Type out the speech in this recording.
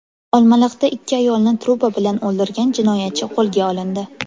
Olmaliqda ikki ayolni truba bilan o‘ldirgan jinoyatchi qo‘lga olindi.